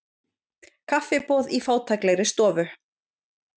Kaffiboð í fátæklegri stofu.